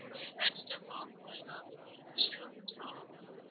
ஒரு accident ஓ அந்தமாதிரி ஏதாவது ஒரு இருந்துச்சுன்னாலும்